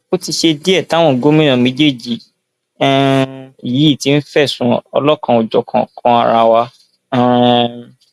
ó ti ṣe díẹ táwọn gómìnà méjèèjì um yìí ti ń fẹsùn ọlọkanòjọkan kan ara wa um